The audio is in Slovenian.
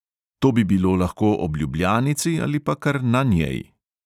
To bi bilo lahko ob ljubljanici ali pa kar na njej.